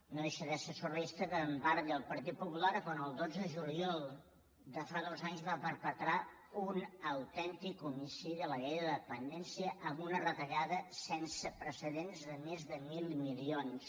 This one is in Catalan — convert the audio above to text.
no deixa de ser surrealista que en parli el partit popular quan el dotze de juliol de fa dos anys va perpetrar un autèntic homicidi a la llei de dependència amb una retallada sense precedents de més de mil milions